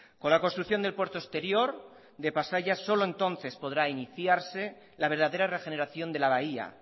con la construcción del puerto exterior de pasaia solo entonces podrá iniciarse la verdadera regeneración de la bahía